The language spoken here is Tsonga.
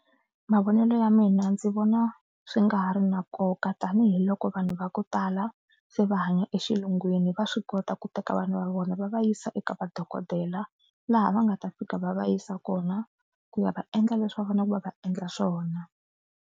Mavonelo ya mina ndzi vona swi nga ha ri na nkoka tanihiloko vanhu va ku tala se va hanya exilungwini. Va swi kota ku teka vana va vona va va yisa eka vadokodela laha va nga ta fika va va yisa kona ku ya va endla leswi va faneleke va va endla swona.